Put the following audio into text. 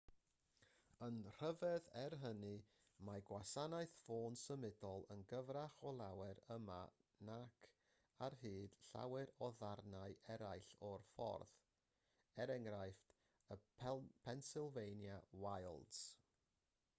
yn rhyfedd er hynny mae gwasanaeth ffôn symudol yn gryfach o lawer yma nac ar hyd llawer o ddarnau eraill o'r ffordd e.e. y pennsylvania wilds